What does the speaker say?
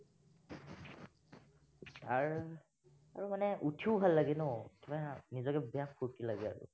আৰু, আৰু মানে উঠিও ভাল লাগে ন, কিবা নিজকে বেয়া ফুৰ্টি লাগে আৰু